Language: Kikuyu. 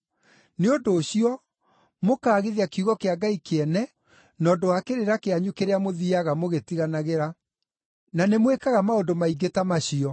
Nĩ ũndũ ũcio mũkaagithia kiugo kĩa Ngai kĩene na ũndũ wa kĩrĩra kĩanyu kĩrĩa mũthiiaga mũgĩtiganagĩra. Na nĩmwĩkaga maũndũ maingĩ ta macio.”